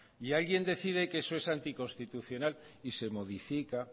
y alguien decide que eso es anticonstitucional y se modifica